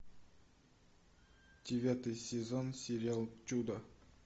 девятый сезон сериал чудо